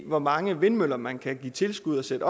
i hvor mange vindmøller man kan give tilskud til at